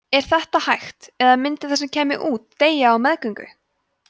er þetta hægt eða myndi það sem kæmi út deyja á meðgöngu